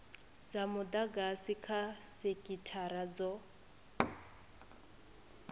dza mudagasi kha sekithara dzo